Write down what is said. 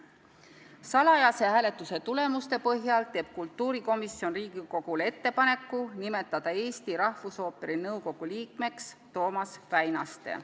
Salajase hääletuse tulemuste põhjal teeb kultuurikomisjon Riigikogule ettepaneku nimetada Eesti Rahvusooperi nõukogu liikmeks Toomas Väinaste.